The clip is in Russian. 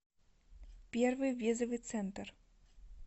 первый визовый центр